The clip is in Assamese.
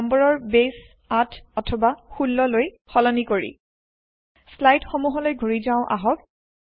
নম্বৰৰ বেছ ৮ অথবা ১৬ লৈ সলনি কৰি স্লাইদ সমূহলৈ ঘূৰি যাও আহক